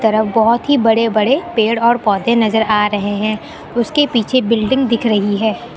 तरफ बहुत ही बड़े बड़े पेड़ और पौधे नजर आ रहे हैं उसके पीछे बिल्डिंग दिख रही है।